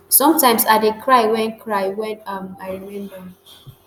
sometimes i dey cry wen cry wen um i remember